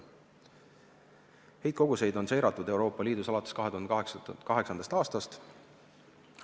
Heitkoguseid on Euroopa Liidus seiratud alates 2008. aastast.